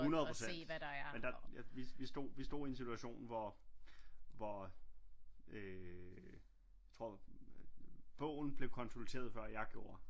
100 procent men der vi stod i en situation hvor hvor øh jeg tror bogen blev konsulteret før jeg gjorde